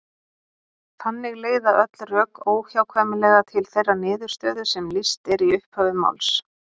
Þannig leiða öll rök óhjákvæmilega til þeirrar niðurstöðu sem lýst er í upphafi máls.